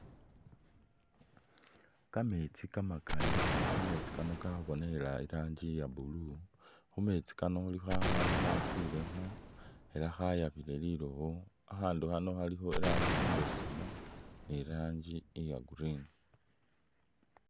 Kameetsi kamakali ela kameetsi kano kabonikhile i'rangi iya blue, khu meetsi kano khulikho akhaandu khakwilemu ela khayabile lilowo, akhaandu khanokhalikho i'rangi imbesemu ni i'rangi iya Green.